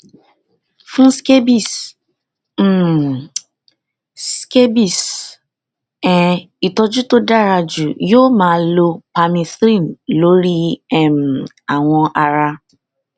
fún scabies um scabies um ìtọjú tó dára jù yóò máa lo permethrin lórí um awọ ara